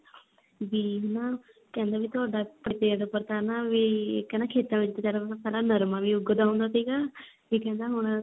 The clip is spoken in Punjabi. ਵੀ ਹਨਾ ਕਹਿੰਦਾ ਵੀ ਤੁਹਾਡੇ ਖੇਤ ਚ ਤਾਂ ਨਾ ਵੀ ਕਹਿੰਦਾ ਖੇਤਾਂ ਵਿੱਚ ਪਿਹਲਾਂ ਤਾਂ ਨਰਮਾ ਵੀ ਉਗਦਾ ਹੁੰਦਾ ਸੀਗਾ ਤੇ ਕਹਿੰਦਾ ਵੀ ਹੁਣ ਤਾਂ